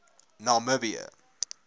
namibië